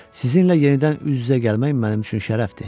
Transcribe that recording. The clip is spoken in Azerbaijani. Sizinlə yenidən üz-üzə gəlmək mənim üçün şərəfdir.